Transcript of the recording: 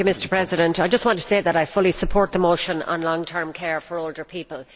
Mr President, I just want to say that I fully support the motion on long term care for older people.